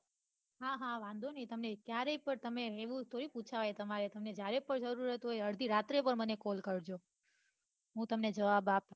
હા હા વાંઘો ની જયારે કો તમે એ થોડી પૂછાય તમારે તમારે જયારે જરૂર હોય તો અડઘી રાત્રે પન call કરજો હું તમને જવાબ આપીશ